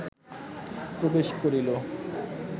প্রবেশ করিল